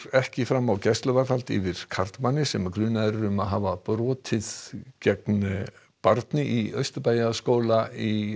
ekki fram á gæsluvarðhald yfir karlmanni sem grunaður er um að hafa brotið gegn barni í Austurbæjarskóla í